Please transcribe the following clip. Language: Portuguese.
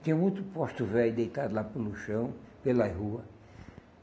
Tinha muito posto velho deitado lá pelo chão, pelas rua.